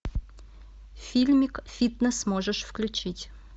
фильмик фитнес можешь включить